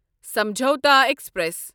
Samjhauta express